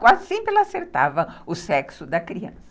Quase sempre ela acertava o sexo da criança.